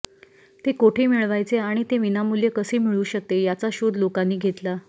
ते कोठे मिळवायचे आणि ते विनामूल्य कसे मिळू शकते याचा शोध लोकांनी घेतला